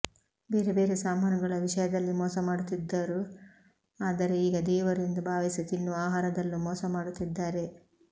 ಬೇರೆ ಬೇರೆ ಸಾಮಾನುಗಳ ವಿಷಯದಲ್ಲಿ ಮೋಸ ಮಾಡುತ್ತಿದ್ದರು ಆದರೆ ಈಗ ದೇವರು ಎಂದು ಭಾವಿಸಿ ತಿನ್ನುವ ಆಹಾರದಲ್ಲೂ ಮೋಸ ಮಾಡುತ್ತಿದ್ದಾರೆ